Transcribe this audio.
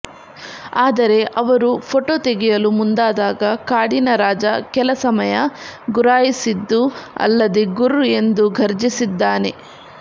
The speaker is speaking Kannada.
ಆದರೆ ಅವರು ಫೋಟೋ ತೆಗೆಯಲು ಮುಂದಾದಾಗ ಕಾಡಿನ ರಾಜ ಕೆಲ ಸಮಯ ಗುರಾಯಿಸಿದ್ದೂ ಅಲ್ಲದೇ ಗುರ್ ಎಂದು ಘರ್ಜಿಸಿದ್ದಾನೆ